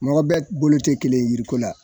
Mɔgɔ bɛ bolo tɛ kelen ye yiriko la.